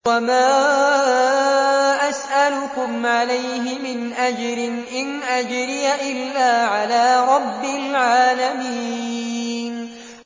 وَمَا أَسْأَلُكُمْ عَلَيْهِ مِنْ أَجْرٍ ۖ إِنْ أَجْرِيَ إِلَّا عَلَىٰ رَبِّ الْعَالَمِينَ